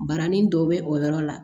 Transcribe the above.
Barani dɔ bɛ o yɔrɔ la